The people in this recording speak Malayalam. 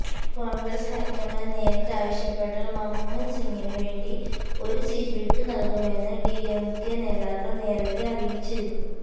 കോണ്ഗ്രസ് ഹൈക്കമാന്ഡ് നേരിട്ട് ആവശ്യപ്പെട്ടാല് മന്മോഹന് സിംഗിന് വേണ്ടി ഒരു സീറ്റ് വിട്ടുനല്കുമെന്ന് ഡിഎംകെ നേതാക്കള് നേരത്തെ അറിയിച്ചിരുന്നു